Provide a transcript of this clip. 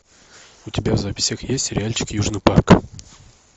у тебя в записях есть сериальчик южный парк